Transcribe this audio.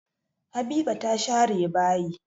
Habiba ta share bayi.